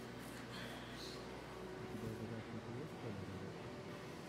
у тебя в загашнике есть толя робот